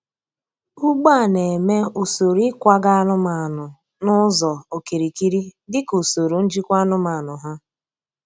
Ugbo a na-eme usoro ịkwaga anụmanụ n’ụzọ okirikiri dị ka usoro njikwa anụmanụ ha.